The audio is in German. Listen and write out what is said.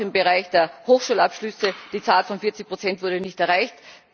Auch im Bereich der Hochschulabschlüsse Die Zahl von 40 Prozent wurde nicht erreicht.